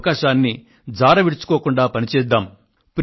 ఈ అవకాశాన్ని జారవిడుచుకోకుండా పని చేద్దాము